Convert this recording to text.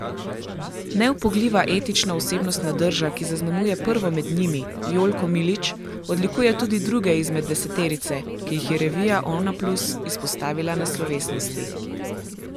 Neupogljiva etična osebnostna drža, ki zaznamuje prvo med njimi, Jolko Milič, odlikuje tudi druge izmed deseterice, ki jih je revija Onaplus izpostavila na slovesnosti.